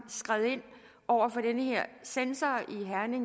skred ind over for en censor